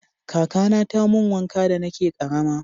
kakana ta mun wanka da na ke karama